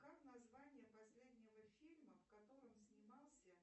как название последнего фильма в котором снимался